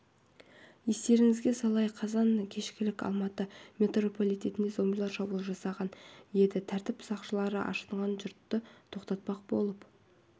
естеріңізге салайық қазан кешкілік алматы метрополитеніне зомбилар шабуыл жасаған еді тәртіп сақшылары ашынған жұртты тоқтатпақ болып